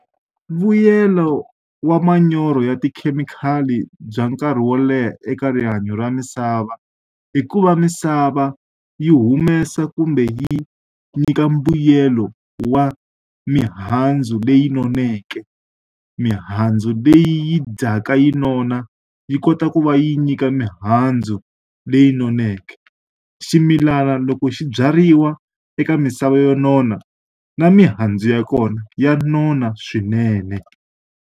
Vuyelo wa manyoro ya tikhemikhali bya nkarhi wo leha eka rihanyo ra misava, i ku va misava yi humesa kumbe yi nyika mbuyelo wa mihandzu leyi noneke. Mihandzu leyi dyaka yi nona, yi kota ku va yi nyika mihandzu leyi noneke. Ximilana loko xi byariwa eka misava yo nona, na mihandzu ya kona ya nona swinene.